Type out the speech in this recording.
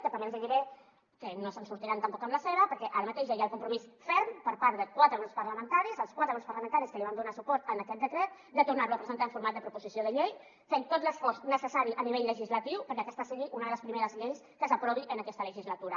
però també els diré que no se sortiran tampoc amb la seva perquè ara mateix ja hi ha el compromís ferm per part de quatre grups parlamentaris els quatre grups parlamentaris que van donar suport a aquest decret de tornar lo a presentar en format de proposició de llei fent tot l’esforç necessari a nivell legislatiu perquè aquesta sigui una de les primeres lleis que s’aprovin en aquesta legislatura